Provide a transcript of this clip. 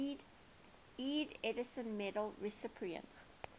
ieee edison medal recipients